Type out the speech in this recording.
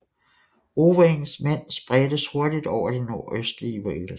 Owains mænd spredtes hurtigt over det nordøstlige Wales